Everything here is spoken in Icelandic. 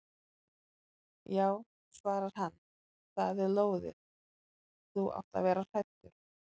Já svarar hann, það er lóðið, þú átt að vera hræddur.